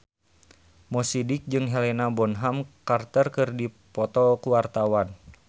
Mo Sidik jeung Helena Bonham Carter keur dipoto ku wartawan